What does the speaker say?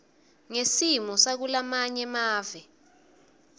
ngesimo sakulamanye mave